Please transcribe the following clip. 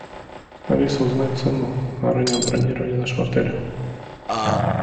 алиса узнай цену раннего бронирования нашего отеля